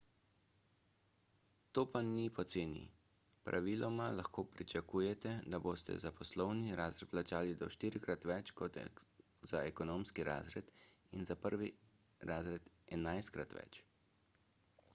to pa ni poceni praviloma lahko pričakujete da boste za poslovni razred plačali do štirikrat več kot za ekonomski razred in za prvi razred enajstkrat več